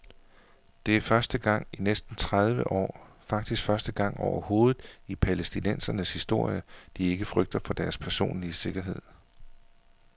Det er første gang i næsten tredive år, faktisk første gang overhovedet i palæstinensernes historie, de ikke frygter for deres personlige sikkerhed.